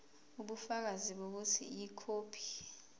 ubufakazi bokuthi ikhophi